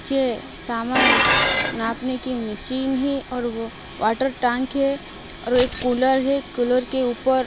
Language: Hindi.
नीचे समान नापने की मशीन है और वो वॉटर टैंक है और एक कुलर है कूलर के ऊपर--